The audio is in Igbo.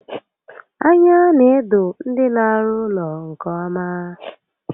Anya n'edo ndị n'arụ ụlọ nke ọma